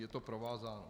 Je to provázáno.